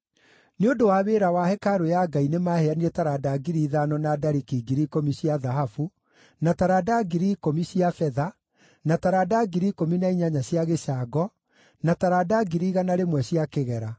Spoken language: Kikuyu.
Nĩ ũndũ wa wĩra wa hekarũ ya Ngai nĩmaheanire taranda ngiri ithano, na dariki ngiri ikũmi cia thahabu, na taranda ngiri ikũmi cia betha, na taranda ngiri ikũmi na inyanya cia gĩcango, na taranda ngiri igana rĩmwe cia kĩgera.